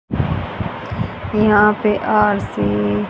यहां पे आरती--